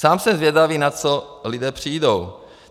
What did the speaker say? Sám jsem zvědavý, na co lidé přijdou.